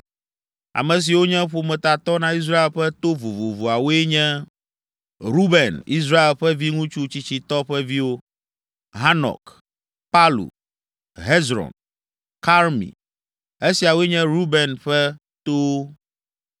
Ame siwo nye ƒometatɔ na Israel ƒe to vovovoawoe nye: Ruben, Israel ƒe viŋutsu tsitsitɔ ƒe viwo: Hanok, Palu, Hezron, Karmi. Esiawoe nye Reuben ƒe towo.